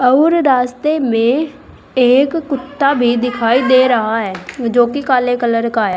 और रास्ते में एक कुत्ता भी दिखाई दे रहा है जो कि काले कलर का है।